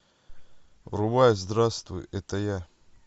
врубай здравствуй это я